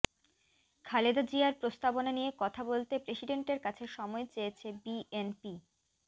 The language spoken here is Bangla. খালেদা জিয়ার প্রস্তাবনা নিয়ে কথা বলতে প্রেসিডেন্টের কাছে সময় চেয়েছে বিএনপি